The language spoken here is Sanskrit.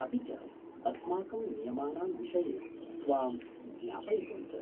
अपि च अस्माकं नियमानां विषये त्वां ज्ञापयितुं च।